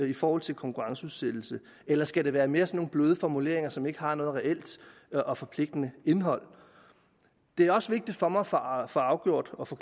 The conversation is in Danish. i forhold til konkurrenceudsættelse eller skal det være mere sådan nogle bløde formuleringer som ikke har noget reelt og forpligtende indhold det er også vigtigt for mig at få afgjort og få